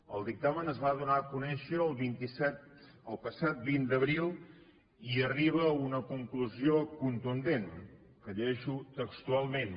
el dictamen es va donar a conèixer el passat vint d’abril i arriba a una conclusió contundent que llegeixo textualment